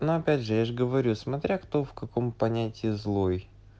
но опять же я ж говорю смотря кто в каком понятии злой